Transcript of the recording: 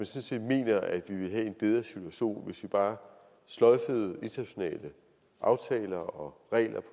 set mener at vi ville have en bedre situation hvis vi bare sløjfede internationale aftaler og regler